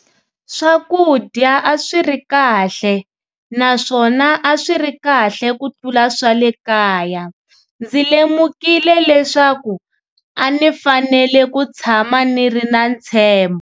Swakudya a swi ri kahle - naswona a swiri kahle kutlula swa le kaya. Ndzi lemukile leswaku a ni fanele ku tshama niri na ntshembho.